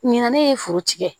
Ɲinan ne ye furu tigɛ